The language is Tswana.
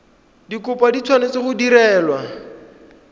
dikopo di tshwanetse go direlwa